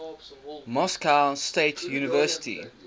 moscow state university